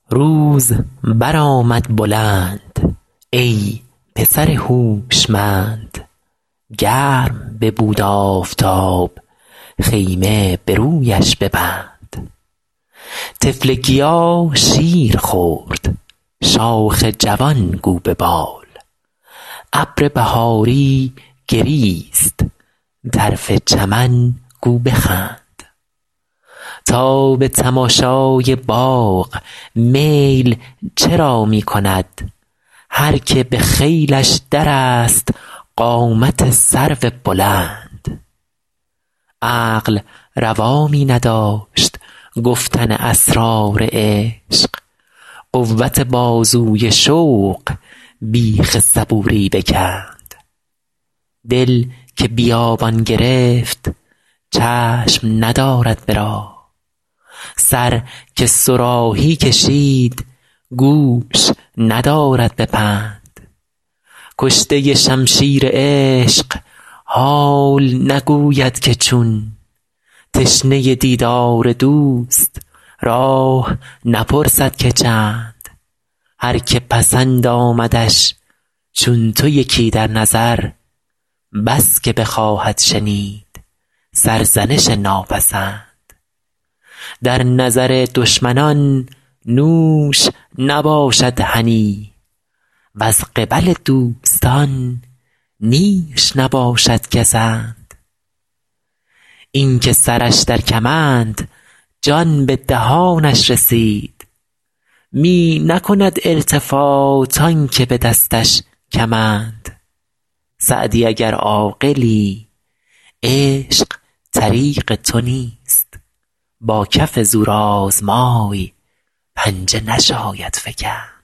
روز برآمد بلند ای پسر هوشمند گرم ببود آفتاب خیمه به رویش ببند طفل گیا شیر خورد شاخ جوان گو ببال ابر بهاری گریست طرف چمن گو بخند تا به تماشای باغ میل چرا می کند هر که به خیلش درست قامت سرو بلند عقل روا می نداشت گفتن اسرار عشق قوت بازوی شوق بیخ صبوری بکند دل که بیابان گرفت چشم ندارد به راه سر که صراحی کشید گوش ندارد به پند کشته شمشیر عشق حال نگوید که چون تشنه دیدار دوست راه نپرسد که چند هر که پسند آمدش چون تو یکی در نظر بس که بخواهد شنید سرزنش ناپسند در نظر دشمنان نوش نباشد هنی وز قبل دوستان نیش نباشد گزند این که سرش در کمند جان به دهانش رسید می نکند التفات آن که به دستش کمند سعدی اگر عاقلی عشق طریق تو نیست با کف زورآزمای پنجه نشاید فکند